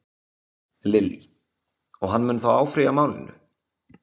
Lillý: Og hann mun þá áfrýja málinu?